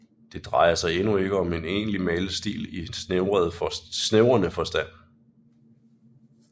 Det drejer sig endnu ikke om en egentlig malestil i snævrere forstand